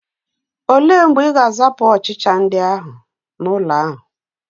Ole mgbe Ị ga-azapụ ọchịcha ndị ahụ n'ụlọ ahụ?